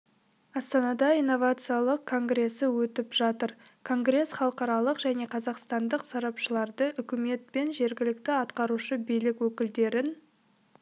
астанада инновациялық конгресі өтіп жатыр конгресс халықаралық және қазақстандық сарапшыларды үкімет пен жергілікті атқарушы билік өкілдерін